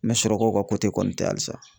N mɛ surakaw ka kɔni tɛ halisa.